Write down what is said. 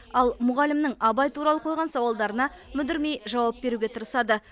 ал мұғалімнің абай туралы қойған сауалдарына мүдірмей жауап беруге тырысады